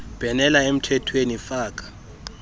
bhenela emthethweni faka